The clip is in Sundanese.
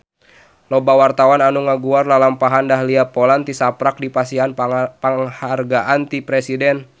Loba wartawan anu ngaguar lalampahan Dahlia Poland tisaprak dipasihan panghargaan ti Presiden